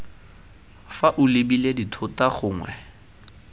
fa o lebile dithota gongwe